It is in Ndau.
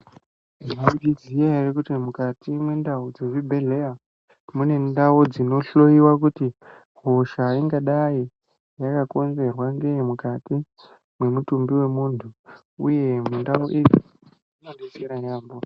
Mwaizviziya ere kuti mukati mwendau dzemuzvibhedheya mune ndau dzinohloyiwa kuti hosha ingadai yakakonzerwa ngei mukati mwemutumbi wemuntu uye ndau idzi dzinodetsera yaambho.